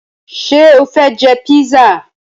Ṣé o fẹ jẹ písà?